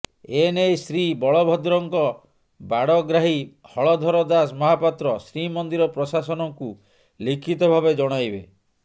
ଏ ନେଇ ଶ୍ରୀ ବଳଭଦ୍ରଙ୍କ ବାଡ଼ଗ୍ରାହୀ ହଳଧର ଦାସ ମହାପାତ୍ର ଶ୍ରୀମନ୍ଦିର ପ୍ରଶାସନକୁ ଲିଖିତ ଭାବେ ଜଣାଇବେ